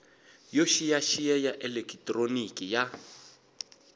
yo xiyaxiya ya elekitroniki ya